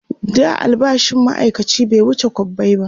da albashin maaikaci bai wuce kwabbai ba